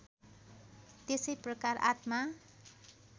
त्यसै प्रकार आत्मा